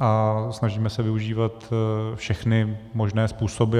a snažíme se využívat všechny možné způsoby.